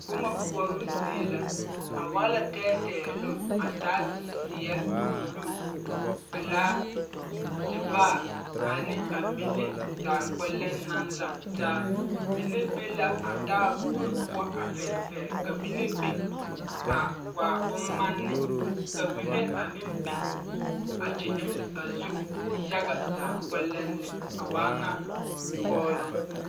Boma koɔroo zie la a waa la tɛɛtɛɛloŋ a taa zeɛ buluu pelaa tevaare ane a mine zaa kpɛlɛm naŋ lantaa mine be la a taaboori poɔ a fɛrefɛre ka a mine biŋ a waa bommane ka mine a meŋ biŋ a kyɛkyuli a zu yaɡa zaa kpɛlɛm a waa ŋa kɔɔloŋ.